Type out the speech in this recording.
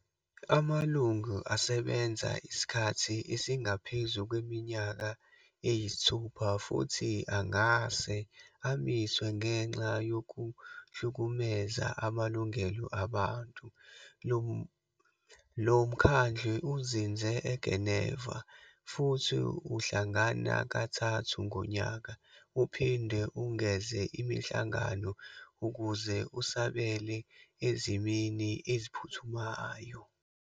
Amalungu asebenza isikhathi esingaphezu kweminyaka eyisithupha futhi angase amiswe ngenxa yokuhlukumeza amalungelo abantu. Lo mkhandlu uzinze eGeneva, futhi uhlangana kathathu ngonyaka, uphinde ungeze imihlangano ukuze usabele ezimeni eziphuthumayo.